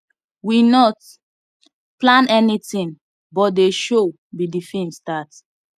we not plan anything but they show be the film start